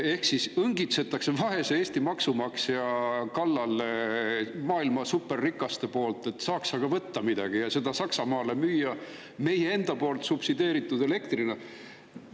Ehk siis maailma superrikkad õngitsevad vaese Eesti maksumaksja kallal, et saaks aga midagi võtta ja seda meie enda subsideeritud elektrina Saksamaale müüa.